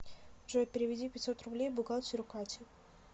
джой переведи пятьсот рублей бухгалтеру кате